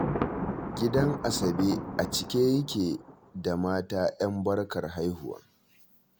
Gidan Asabe a cike yake da mata 'yan barkar haihuwa